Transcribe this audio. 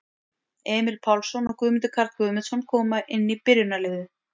Emil Pálsson og Guðmundur Karl Guðmundsson koma inn í byrjunarliðið.